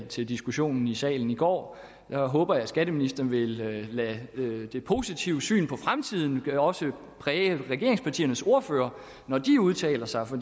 til diskussion i salen i går jeg håber at skatteministeren vil lade det det positive syn på fremtiden også præge regeringspartiernes ordførere når de udtaler sig for